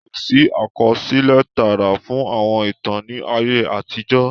Kosi àkọsílẹ̀ tààrà fún àwọn ìtàn ni ayé àtijọ́